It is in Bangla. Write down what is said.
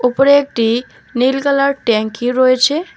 ওপরে একটি নীল কালার ট্যাংকি রয়েছে।